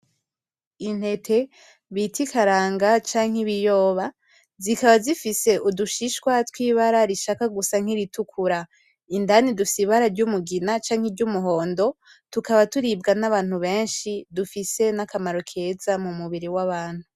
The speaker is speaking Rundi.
intete bita ikaranga canke ibiyoba zikaba zifise udushishwa twibara rishaka gusa nk'iritukura, indani dufise ibara ry'umugina canke ry'umuhondo tukaba turibwa nabantu benshi dufise nakamaro keza mu mubiri wa bantu.